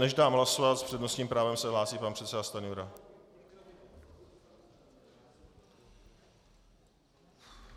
Než dám hlasovat, s přednostním právem se hlásí pan předseda Stanjura.